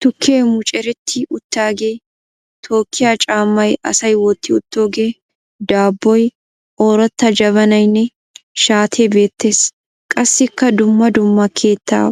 Tukkee mucuretti uttaagee, tookkiya caammay asay wotti uttoogee, daabboy, ooratta jabanayinne shaatee beettes. Qassikka dumma dumma keettaa